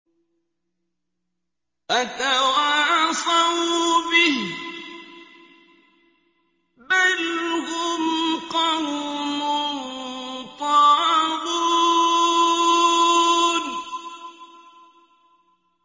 أَتَوَاصَوْا بِهِ ۚ بَلْ هُمْ قَوْمٌ طَاغُونَ